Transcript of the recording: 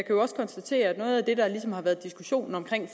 jo også konstatere at noget af det der ligesom har været diskussionen om